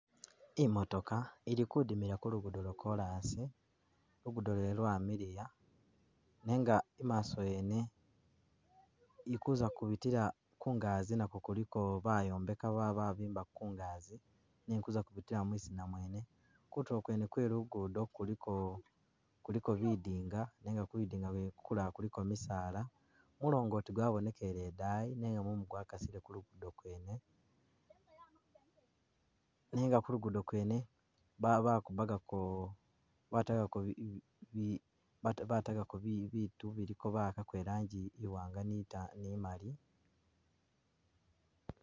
I'motooka ili kudimila kulugudo lwakolasi, lugudo lwene lwamiliya nenga i'maaso wene ili kuza kubitila Ku ngazi nakwo kuliko bayombeka bambiko ku ngazi nenga ili kuza kubitila mwizina mwene, kutuulo kwene kwelugudo kuliko kuliko bidinga, nenga Ku bidinga kwene kulala kuliko bisaala bisaala, mulongoti kwabonekele ndayi nenga mumu kwa kasile ku lugudo kwene, nenga kulugudo ba bakubakako batako bi bi ba batakako bitu bawakako irangi i'waanga ni mali